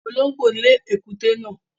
Olóngbó lè ekuté náà